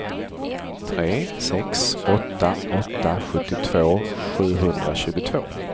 tre sex åtta åtta sjuttiotvå sjuhundratjugotvå